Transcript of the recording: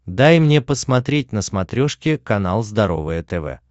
дай мне посмотреть на смотрешке канал здоровое тв